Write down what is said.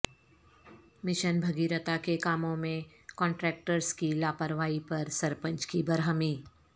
mission Bhagiratha کے کاموں میں کنٹراکٹرس کی لاپرواہی پر سرپنچ کی برہمی